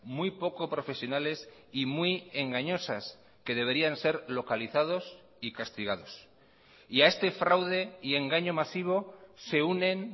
muy poco profesionales y muy engañosas que deberían ser localizados y castigados y a este fraude y engaño masivo se unen